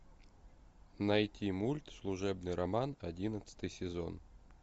найти мульт служебный роман одиннадцатый сезон